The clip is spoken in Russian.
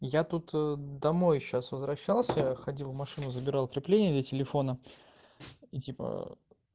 я тут домой сейчас возвращался ходил машину забирал крепление для телефона и типа